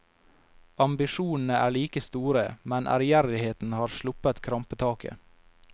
Ambisjonene er like store, men ærgjerrigheten har sluppet krampetaket.